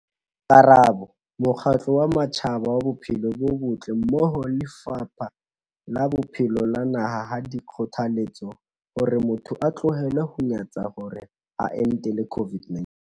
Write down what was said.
Karabo- Mokgatlo wa Matjhaba wa Bophelo bo Botle mmoho le Lefapha la Bophelo la naha ha di kgothaletse hore motho a tlohele ho nyantsha hore a entele COVID-19.